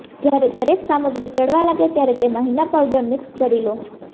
જ્યારે દરેક સામગ્રી ચઢવા લાગે ત્યારે તેમા હિના પાવડર મિક્સ કરી લો